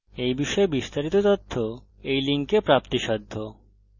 এই বিষয়ে বিস্তারিত তথ্য এই লিঙ্কে প্রাপ্তিসাধ্য http:// spokentutorial org/nmeictintro